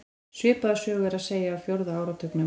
Svipaða sögu er að segja af fjórða áratugnum.